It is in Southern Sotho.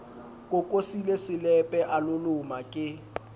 kokosile selepe a loloma ke